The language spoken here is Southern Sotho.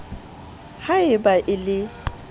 ha e ba a le